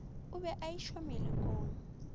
o be a išwa melokong